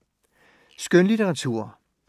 Skønlitteratur